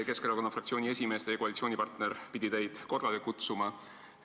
Keskerakonna fraktsiooni esimees, teie koalitsioonipartner, pidi teid korrale kutsuma.